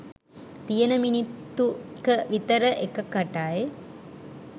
තියෙන මිනිත්තු ක විතර එකකටයි